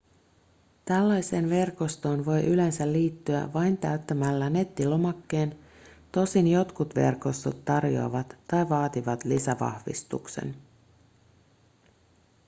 tällaiseen verkostoon voi yleensä liittyä vain täyttämällä nettilomakkeen tosin jotkut verkostot tarjoavat tai vaativat lisävahvistuksen